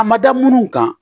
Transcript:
A ma da minnu kan